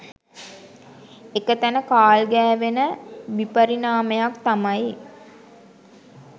එක තැන කාල් ගෑවෙන විපරිණාමයක් තමයි